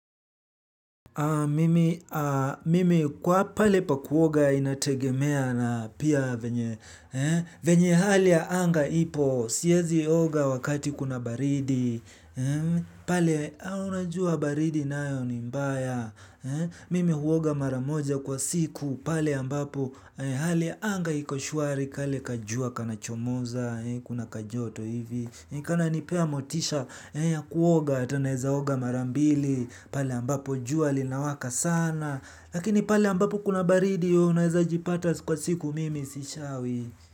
Mimi, mimi kwa pale pa kuoga inategemea na pia venye, venye hali ya anga ipo, siezi oga wakati kuna baridi, pale unajua baridi nayo ni mbaya, mimi huoga mara moja kwa siku, pale ambapo hali ya anga iko shwari kale kajua kanachomoza, kuna kajoto hivi, kananipea motisha ya kuoga hata naeza oga mara mbili. Pale ambapo jua linawaka sana. Lakini pale ambapo kuna baridi yo unaeza jipata kwa siku mimi sishawi.